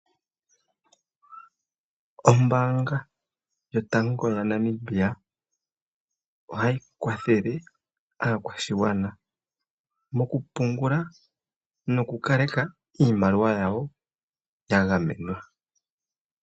Ombaanga yotango ya Namibia ohahi kwathele aakwashigwana moku pungula noku kaleka iimaliwa yawo ya gamenwa.